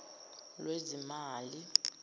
lwezimali